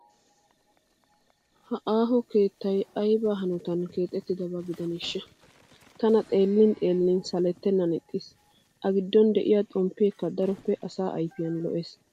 Ha aaho keettayi ayiba hanotan keexattidaba gidaneeshsha? Tana xeellin xeellin salettennan ixxis. A giddon diyaa xomppeekka daroppe asaa ayifiyan lo"es.